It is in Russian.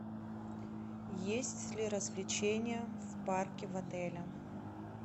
есть ли развлечения в парке в отеле